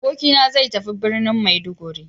Abokina zai tafi birnin Maiduguri.